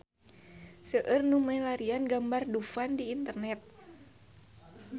Seueur nu milarian gambar Dufan di internet